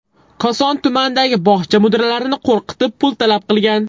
Koson tumanidagi bog‘cha mudiralarini qo‘rqitib, pul talab qilgan.